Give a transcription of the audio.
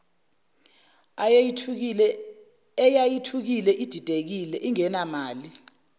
eyayithukile ididekile ingenamali